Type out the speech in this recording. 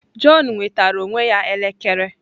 Jọn nwetara onwe ya elekere.